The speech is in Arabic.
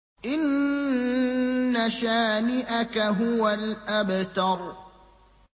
إِنَّ شَانِئَكَ هُوَ الْأَبْتَرُ